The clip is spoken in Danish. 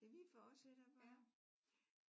Ja vi fortsætter bare